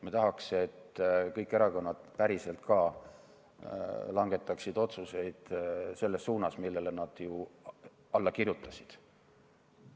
Me tahaksime, et kõik erakonnad päriselt ka langetaksid otsuseid selles suunas, millele nad ju alla kirjutasid.